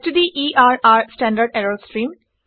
ষ্টডাৰৰ standard ইৰৰ stream